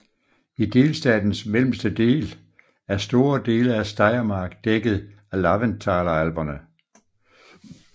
I delstatens mellemste del er store dele af Steiermark dækket af Laventtaler Alperne